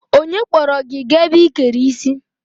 Onye kpọrọ gị gaa ebe ị kere isi?